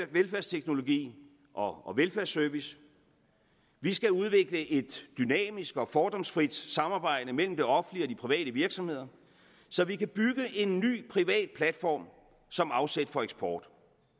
velfærdsteknologi og velfærdsservice vi skal udvikle et dynamisk og fordomsfrit samarbejde mellem det offentlige og de private virksomheder så vi kan bygge en ny privat platform som afsæt for eksport